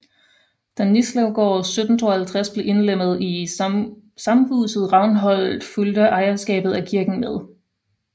Da Nislevgård 1752 blev indlemmet i samhuset Ravnholt fulgte ejerskabet af kirken med